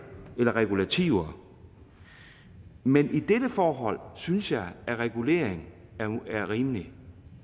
eller regulativer men i dette forhold synes jeg regulering er rimelig